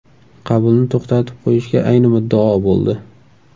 Qabulni to‘xtatib qo‘yishga ayni muddao bo‘ldi.